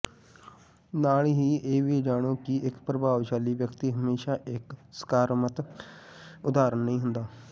ਨਾਲ ਹੀ ਇਹ ਵੀ ਜਾਣੋ ਕਿ ਇੱਕ ਪ੍ਰਭਾਵਸ਼ਾਲੀ ਵਿਅਕਤੀ ਹਮੇਸ਼ਾ ਇੱਕ ਸਕਾਰਾਤਮਕ ਉਦਾਹਰਨ ਨਹੀਂ ਹੁੰਦਾ